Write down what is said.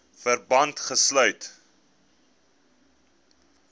verband gesluit